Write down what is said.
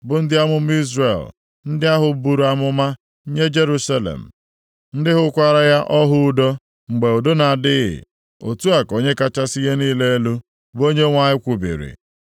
bụ ndị amụma Izrel ndị ahụ buru amụma nye Jerusalem, ndị hụkwara ya ọhụ udo mgbe udo na-adịghị, otu a ka Onye kachasị ihe niile elu, bụ Onyenwe anyị kwubiri.” ’